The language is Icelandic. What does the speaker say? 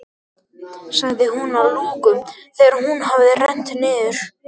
sagði hún að lokum, þegar hún hafði rennt niður.